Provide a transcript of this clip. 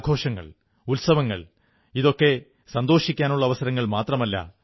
നമ്മുടെ ആഘോഷങ്ങൾ ഉത്സവങ്ങൾ ഒക്കെ സന്തോഷിക്കാനുള്ള അവസരങ്ങൾ മാത്രമല്ല